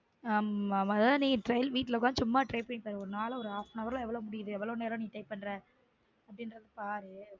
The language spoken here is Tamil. ஆமா ந trial வீட்ல சும்மா உக்காந்து try பண்ணிப்பாரு உன்னால half and hour ல எவ்வளவு முடியுது எவ்வளவு நேரம் type பண்ற அப்டினுறத பாரு